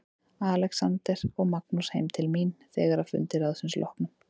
Alexander og Magnús heim til mín þegar að fundi ráðsins loknum.